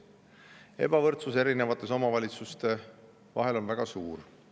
Ebavõrdsus erinevates omavalitsuste vahel on väga suur.